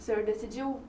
O senhor decidiu?